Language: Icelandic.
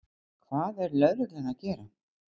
Hvað er lögreglan að gera?